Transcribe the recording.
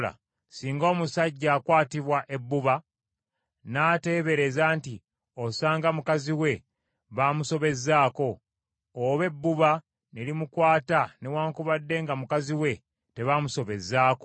singa omusajja akwatibwa ebbuba n’ateebereza nti osanga mukazi we baamusobezzaako, oba ebbuba ne limukwata newaakubadde nga mukazi we tebaamusobezzaako,